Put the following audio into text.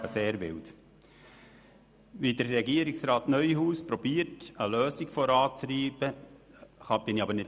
Allerdings bin ich nicht einverstanden damit, wie Regierungsrat Neuhaus eine Lösung voranzutreiben sucht.